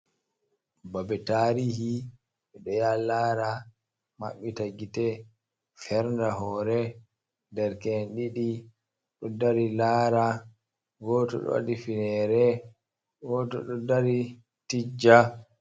Babe tarihi ɓeɗo ya ha lara, mabbita gite, ferna hoore. Derke'en ɗiɗi ɗo dari laara, goto do wadi finere goto ɗo dari tijja.